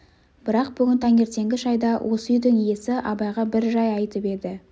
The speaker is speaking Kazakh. бірақ бүгін таңертеңгі шайда осы үйдің иесі абайға бір жай айтып еді